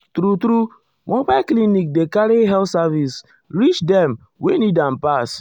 true-true mobile clinic dey carry health service reach dem wey need am pass.